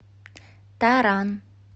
таран